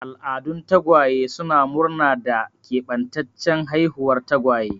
Al'adun tagwaye suna murna da keɓantaccen haihuwar tagwaye.